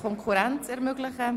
Konkurrenz ermöglichen.